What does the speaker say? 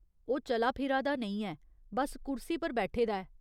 ओह् चला फिरा दा नेईं ऐ, बस्स कुर्सी पर बैठे दा ऐ।